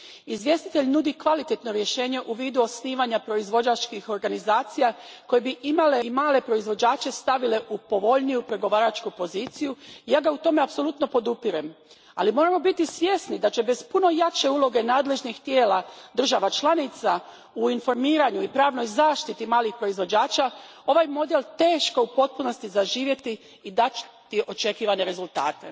Izvjestitelj nudi kvalitetno rješenje u vidu osnivanja proizvođačkih organizacija koje bi male proizvođače stavile u povoljniju pregovaračku poziciju i ja ga u tome apsolutno podupirem, ali moramo biti svjesni da će bez puno jače uloge nadležnih tijela država članica u informiranju i pravnoj zaštiti malih proizvođača ovaj model teško u potpunosti zaživjeti i dati očekivane rezultate.